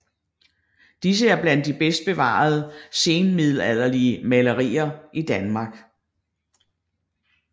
Disse er blandt de bedst bevarede senmiddelalderlige malerier i Danmark